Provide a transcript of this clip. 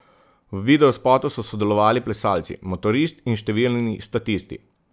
V videospotu so sodelovali plesalci, motorist in številni statisti.